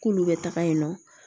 K'olu bɛ taga yen nɔ